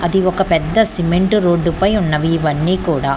అది ఒక పెద్ద సిమెంటు రోడ్డుపై ఉన్నవి ఇవన్నీ కూడా--